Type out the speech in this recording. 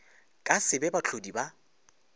ka se be bahlodi ba